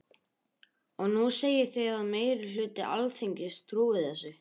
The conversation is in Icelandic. Og nú segið þið að meiri hluti Alþingis trúi þessu.